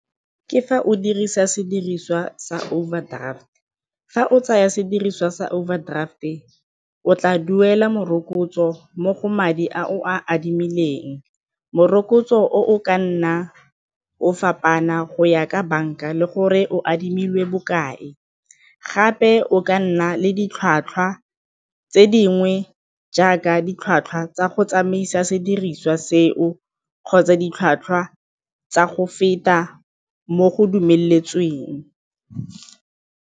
Ke fa o dirisa sediriswa sa overdraft. Fa o tsaya sediriswa sa overdraft e o tla duela morokotso mo go madi a o a adimileng, morokotso o o ka nna o fapana go ya ka banka le gore o adimile bokae gape o ka nna le ditlhwatlhwa tse dingwe jaaka ditlhwatlhwa tsa go tsamaisa sediriswa seo kgotsa ditlhwatlhwa tsa go feta mo go dumeletsweng.